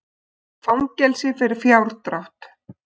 Fangelsi fyrir fjárdrátt